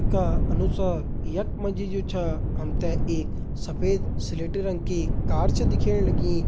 का अनुसार यख मा जी जु छा हम ते एक सफ़ेद स्लेटी रंग की कार छा दिखेण लगीं।